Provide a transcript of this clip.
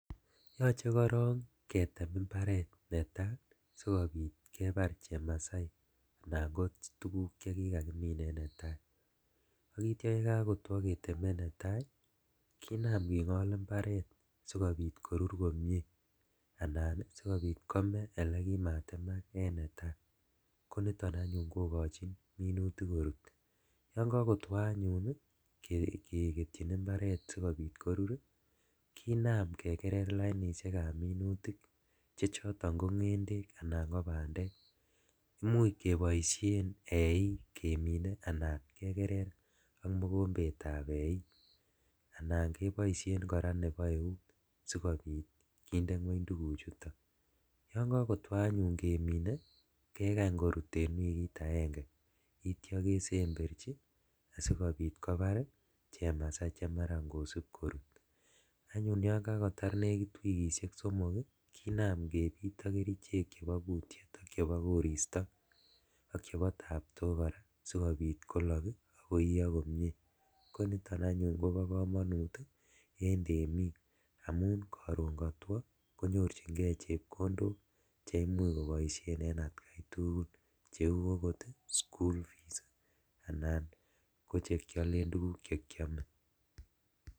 Yoche korong ketem imbaret netaa sikobit kebar chamasai anan kotuguk chwkikakimin en netaa ak ityo yekokotwo keteme netaa kinam kingol imbaret sikobit koruru komie anan sikobit kome elekimatemak en netaa, koniton anyun kokochin minutik korut lomie , yon kokotwo anyun keketyin imbaret sikobit korur ii kinam kekerer lainishekab minutik chechoton ko ngendek anan ko bandek, imuch keboishen eik kemine anan kekerer ak mokombetab eik anan keboishen koraa nebo eut sikobit kinde ngweny tuguchuto, yon kokotwo anyun kemine kekany korut en wikit agenge ityo kesemberji asikobit kobar chamasai chemaran kosib korut, ak anyun yon kakotar nekit wikishek somok ii kinam kebit ok kerichek chebo kutyet ak chebo koristo ak chebo taptok koraa sikobit kolok ii ak koiyo komie ,koniton anyun kobo komonut en temik amun koron kotwo konyorjigee chepkondok cheimuch koboishen en atkai tugul cheu okot school fees anan kochekiolen tuguk chekiome.